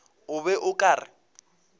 o be o ka re